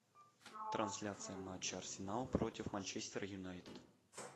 трансляция матча арсенал против манчестер юнайтед